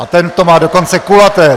A ten to má dokonce kulaté!